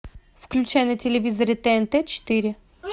включай на телевизоре тнт четыре